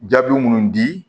Jaabi munnu di